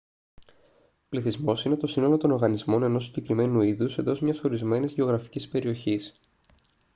πληθυσμός είναι το σύνολο των οργανισμών ενός συγκεκριμένου είδους εντός μιας ορισμένης γεωγραφικής περιοχής